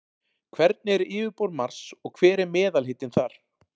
Hvernig er yfirborð Mars og hver er meðalhitinn þar?